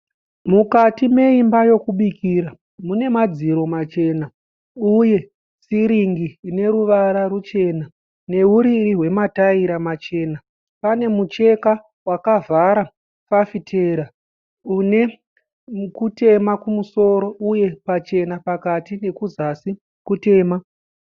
Mukati me imba yekubikira munemadziro machena, uye sirinki ineruvara ruchena newuriri wema taira machena. Panemucheka wakavara fafitera une kutema kumusoro uye pachena pakati nekuzasi kutema.